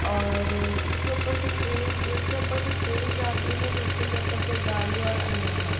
और इसके ऊपर से ट्रेन एक के ऊपर से ट्रेन जाती है दूसरे के ऊपर से गाडी और अन्य वाहन।